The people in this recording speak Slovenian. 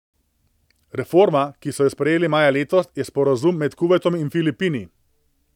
Reforma, ki so jo sprejeli maja letos, je sporazum med Kuvajtom in Filipini.